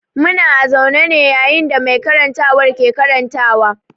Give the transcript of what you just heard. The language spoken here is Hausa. Muna a zaune ne yayin da mai karantarwa ke karantarwa.